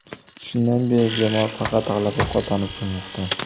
Shundan beri jamoa faqat g‘alaba qozonib kelmoqda.